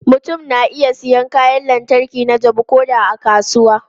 Mutum na iya siyan kayan lantarki na jabu ko da a kasuwa.